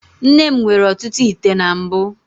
Nne m nwere ọtụtụ ite na mbụ.